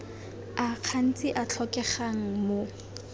a gantsi a tlhokegang mo